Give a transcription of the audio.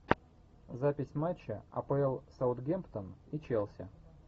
запись матча апл саутгемптон и челси